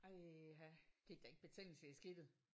Ej ha gik der ikke betændelse i skidtet?